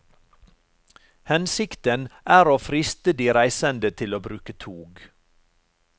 Hensikten er å friste de reisende til å bruke tog.